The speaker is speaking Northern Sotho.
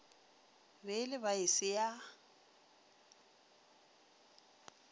be e le baase yo